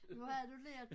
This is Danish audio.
Nu havde du lært